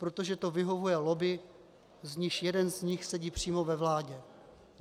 Protože to vyhovuje lobby, z níž jeden z nich sedí přímo ve vládě.